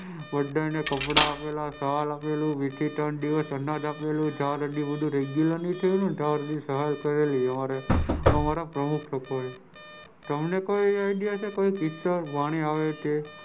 બધાને કપડાં આપેલા સાલ બે થી ત્રણ દિવસ આપેલા અનાજ આપેલું બધું રેગ્યુલર નહિ થયું ત્યાં સુધી બધી સહાય કરી અમારા પ્રમુખ થકો એ તમને કોઈ આઈડિયા છે કોઈ વાણી હોય તે,